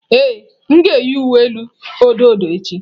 Ee, m ga-eyi uwe elu odo odo echi.